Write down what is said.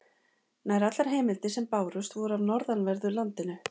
Nær allar heimildirnar sem bárust voru af norðanverðu landinu.